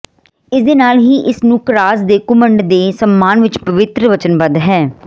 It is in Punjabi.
ਇਸ ਦੇ ਨਾਲ ਹੀ ਇਸ ਨੂੰ ਕਰਾਸ ਦੇ ਘੁਮੰਡ ਦੇ ਸਨਮਾਨ ਵਿਚ ਪਵਿੱਤਰ ਵਚਨਬੱਧ ਹੈ